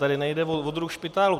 Tady nejde o druh špitálu.